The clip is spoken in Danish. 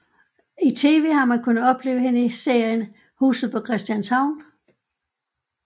I tv har man kunnet opleve hende i serien Huset på Christianshavn